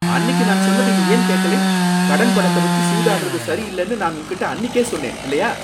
அன்னிக்கு நான் சொன்னதை நீ ஏன் கேக்கலை? கடன் பணத்த வச்சு சூதாடுறது சரியில்லைன்னு நான் உன்கிட்ட அன்னிக்கே சொன்னேன், இல்லையா!